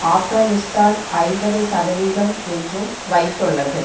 ஆப்கானிஸ்தான் ஐம்பது சதவீதம் என்றும் வைத்துள்ளது